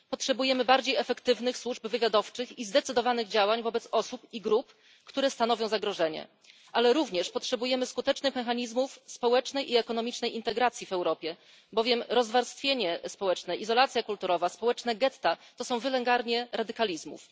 Potrzebujemy bardziej efektywnych służb wywiadowczych i zdecydowanych działań wobec osób i grup, które stanowią zagrożenie, ale również potrzebujemy skutecznych mechanizmów społecznej i ekonomicznej integracji w Europie, bowiem rozwarstwienie społeczne, izolacja kulturowa, społeczne getta to wylęgarnie radykalizmów.